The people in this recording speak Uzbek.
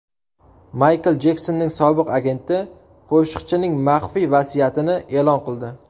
Maykl Jeksonning sobiq agenti qo‘shiqchining maxfiy vasiyatini e’lon qildi.